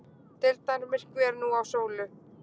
Deildarmyrkvi er nú á sólu